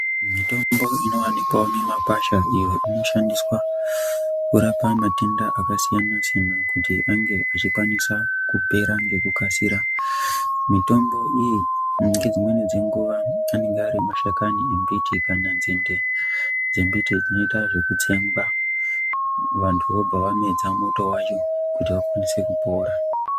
Mitombo inowanikwawo mimakwasha iyo inoshandiswa kurapa matenda akasiyana-siyana kuti ange achikwanisa kukasira kupera ngekukasira. Mitombo iyi ngedzimweni dzenguva anenge ari mashakani embiti kana nzinde dzembiti dzinoita zvekutsengwa, vantu vobva vamedza muto wacho kuti vakwanise kupora.